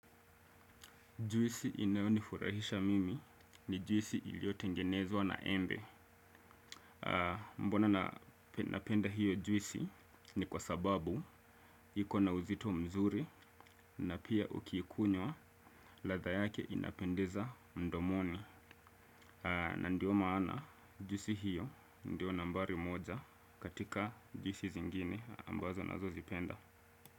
Juisi inayonifurahisha mimi ni juisi iliyotengenezwa na embe. Mbona napenda hiyo juisi ni kwa sababu iko na uzito mzuri na pia ukiikunywa ladha yake inapendeza mdomoni. Na ndio maana juisi hiyo ndio nambari moja katika juisi zingine ambazo nazozipenda.